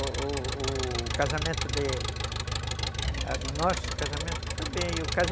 O o casamento de... Nosso casamento foi bem. Eu casei